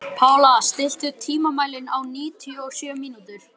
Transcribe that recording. Pála, stilltu tímamælinn á níutíu og sjö mínútur.